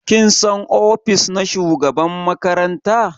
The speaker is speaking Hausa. Kin san ofis na shugaban makaranta?